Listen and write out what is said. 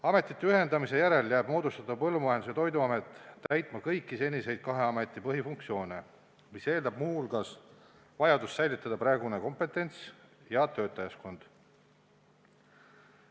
Ametite ühendamise järel jääb moodustatav Põllumajandus- ja Toiduamet täitma kõiki seniseid kahe ameti põhifunktsioone, mis eeldab muu hulgas vajadust säilitada praegune kompetents ja töötajaskond.